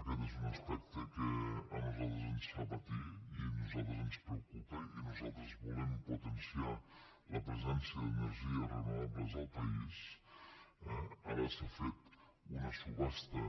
aquest és un aspecte que a nosaltres ens fa patir i a nosaltres ens preocupa i nosaltres volem potenciar la presència d’energies renovables al país eh ara s’ha fet una subhasta